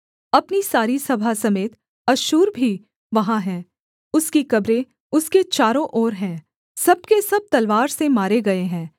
अपनी सारी सभा समेत अश्शूर भी वहाँ है उसकी कब्रें उसके चारों ओर हैं सब के सब तलवार से मारे गए हैं